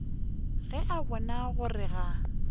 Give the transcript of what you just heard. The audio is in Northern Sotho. ge a bona gore ga